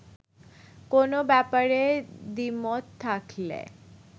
কোনো ব্যাপারে দ্বিমত থাকলে